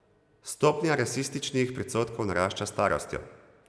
Stopnja rasističnih predsodkov narašča s starostjo.